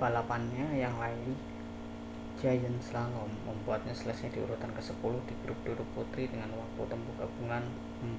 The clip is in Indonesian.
balapannya yang lain giant slalom membuatnya selesai di urutan kesepuluh di grup duduk putri dengan waktu tempuh gabungan